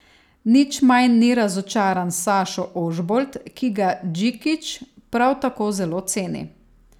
Nič manj ni razočaran Sašo Ožbolt, ki ga Džikić prav tako zelo ceni.